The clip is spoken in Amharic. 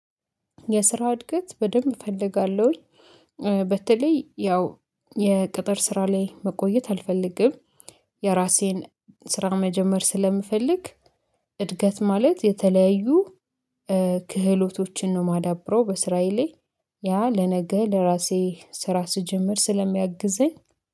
የስራ እድገት በደንብ እፈልጋለሁኝ። በተለይ ያው የቅጥር ስራ ላይ መቆየት አልፈልግም። የራሴን ስራ መጀመር ስለምፈልግ። እድገት ማለት የተለያዩ ክህሎቶችን ነው የማዳብረው በስራዬ ላይ። ያ ለነገ ለራሴ ስራ ስጀምር ስለሚያግዘኝ